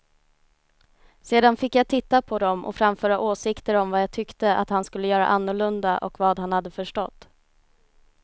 Sedan fick jag titta på dem och framföra åsikter om vad jag tyckte att han skulle göra annorlunda och vad han hade förstått.